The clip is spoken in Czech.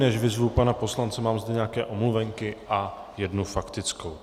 Než vyzvu pana poslance, mám zde nějaké omluvenky a jednu faktickou.